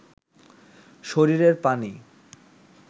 শরীরের পানি